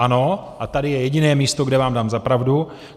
Ano, a tady je jediné místo, kde vám dám za pravdu.